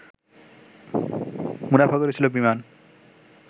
মুনাফা করেছিল বিমান